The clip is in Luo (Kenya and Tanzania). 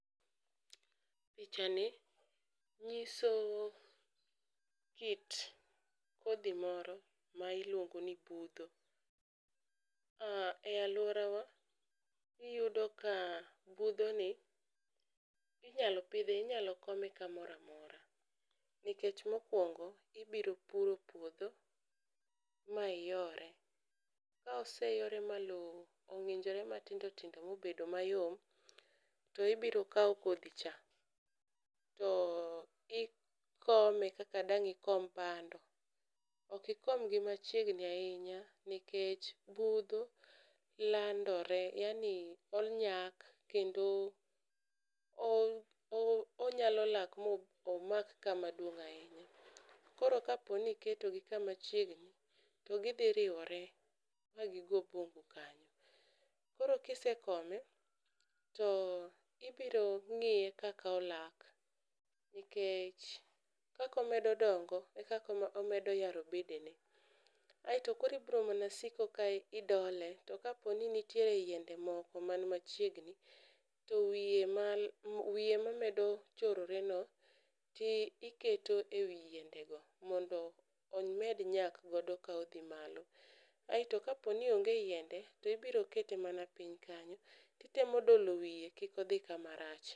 Picha ni nyiso kit kodhi moro ma iluongo ni budho. E alwora wa iyudo ka budho ni inyalo pidhi, inyalo kome kamora mora. Nikech mokwongo ibiro puro puodho ma iyore, ka oseyore ma lo ong'injore matindo tindo ma obedo mayom, to biro kawo kodhi cha. To ikome kaka dang' ikom bando, okikomgi machiegni ahinya nikech budho landore. Yaani onyak kendo onyalo lak mo omak kama duong' ahinya. Koro kaponi iketo gi kama chiegni, to gidhi riwore ma gigo puodho kanyo. Koro kise kome to ibiro ng'iye kaka olak, nikech kaka omedo dongo e kako omedo yaro bedene. Aeto koro ibro mana siko ka idole, to kaponi nitiere yiende moko man machiegni, to wiye mamedo chorore no tiketo ewi yiende go. Mondo omed nyak godo ka odhi malo, aeto kaponi onge yiende to ibro kete mana piny kanyo. Kitemo dolo wiye kikodhi kama rach.